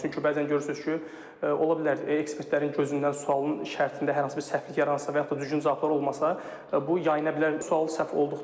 Çünki bəzən görürsünüz ki, ola bilər ekspertlərin gözündən sualın şərtində hər hansı bir səhvlik yaransa və yaxud da düzgün cavablar olmasa, bu yayıla bilər.